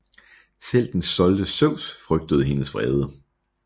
Selv den stolte Zeus frygtede hendes vrede